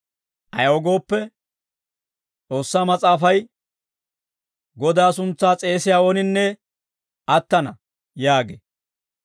Ayaw gooppe, S'oossaa Mas'aafay, «Godaa suntsaa s'eesiyaa ooninne attana» yaagee.